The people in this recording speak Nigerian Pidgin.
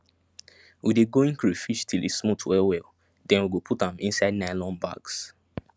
we de going crayfish till e smooth well well then we go put am inside nylon bags